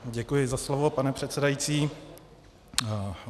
Děkuji za slovo, pane předsedající.